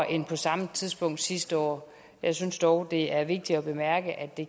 end på samme tidspunkt sidste år jeg synes dog det er vigtigt at bemærke at det